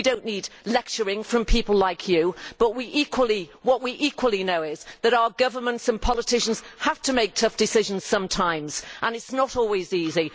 We do not need lecturing from people like you, but what we also know is that our governments and politicians have to make tough decisions sometimes and it is not always easy.